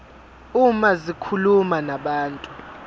uma zikhuluma nabantu